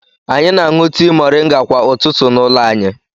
Anyị na-aṅụ tii mọrịnga kwa ụtụtụ n'ụlọ anyi.